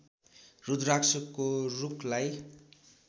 रुद्राक्षको रुखलाई